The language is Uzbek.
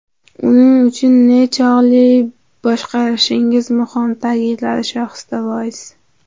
Uning uchun nechog‘li boshqarishingiz muhim”, ta’kidladi Shohista Voiz.